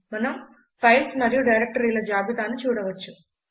మనం ఫైల్స్ మరియు డైరక్టరీల జాబితాను చూడవచ్చు